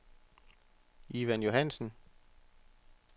Ivan Johannsen